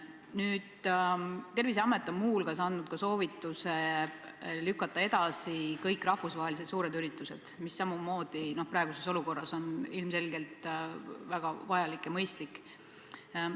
Terviseamet on muu hulgas andnud soovituse lükata edasi kõik rahvusvahelised suured üritused, mis samamoodi praeguses olukorras on ilmselgelt väga vajalik ja mõistlik.